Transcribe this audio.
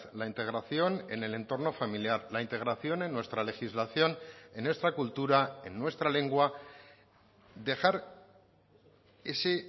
la integración en el entorno familiar la integración en nuestra legislación en nuestra cultura en nuestra lengua dejar ese